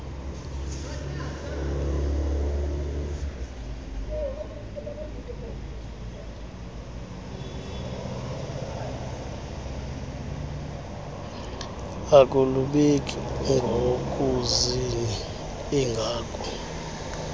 akulubeki ngozini ingako